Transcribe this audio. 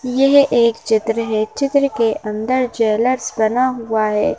यह एक चित्र है चित्र के अंदर ज्वेलर्स बना हुआ है।